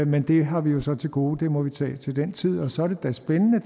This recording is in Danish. men det har vi jo så til gode og det må vi tage til den tid og så er det da spændende